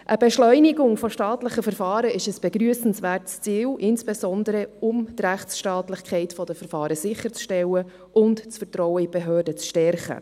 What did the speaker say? Einerseits ist eine Beschleunigung von staatlichen Verfahren ein begrüssenswertes Ziel, insbesondere um die Rechtsstaatlichkeit der Verfahren sicherzustellen und das Vertrauen in die Behörden zu stärken.